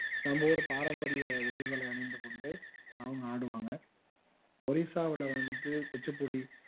நம்ம ஊரு பாரம்பரிய உடைகளை அணிந்து கொண்டு அவங்க ஆடுவாங்க ஒரிசாவுல வந்து குச்சிப்புடி